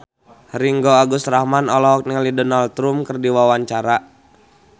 Ringgo Agus Rahman olohok ningali Donald Trump keur diwawancara